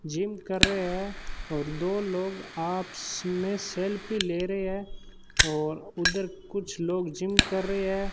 Gym कर रहे है और दो लोग आपस मे सेल्फी ले रहे है और उधर कुछ लोग जिम कर रहे है।